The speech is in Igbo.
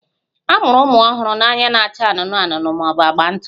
A mụrụ ụmụ ọhụrụ na anya na-acha anụnụ anụnụ ma ọ bụ agba ntụ